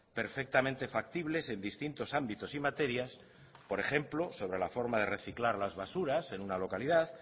perfectamente factibles en distintos ámbitos y materias por ejemplo sobre la forma de reciclar las basuras en una localidad